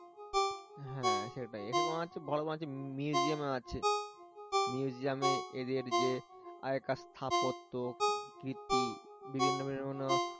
হ্যাঁ সেটাই এখানে হচ্ছে ভালো museum ও আছে museum এদের যে আগেকার স্থাপত্য কীর্তি বিভিন্ন বিভিন্ন